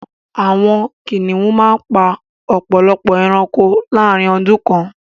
Àwọn kìnnìún màá n pa ọpọ̀lọpọ̀ èránkò láàrín ọdún kan